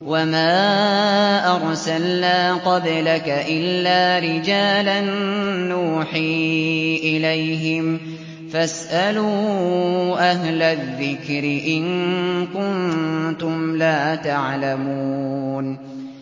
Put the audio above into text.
وَمَا أَرْسَلْنَا قَبْلَكَ إِلَّا رِجَالًا نُّوحِي إِلَيْهِمْ ۖ فَاسْأَلُوا أَهْلَ الذِّكْرِ إِن كُنتُمْ لَا تَعْلَمُونَ